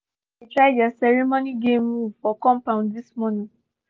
all the pikin dey try their ceremony game move for compund this morning